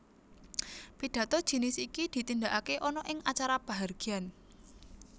Pidhato jinis iki ditindakaké ana ing acara pahargyan